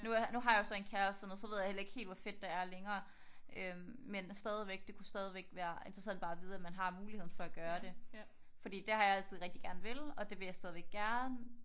Nu har jeg jo så en kæreste og sådan noget så ved jeg ikke helt hvor fedt det er længere. Øh men stadigvæk den det kunne stadigvæk være interessant bare at vide man har muligheden for at kunne gøre det. For det har jeg altid rigtig gerne villet og det vil jeg stadig gerne